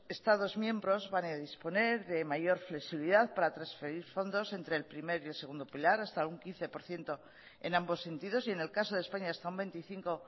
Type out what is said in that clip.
estados miembros van a disponer de mayor flexibilidad para transferir fondos entre el primer y segundo pilar hasta un quince por ciento en ambos sentidos y en el caso de españa hasta un veinticinco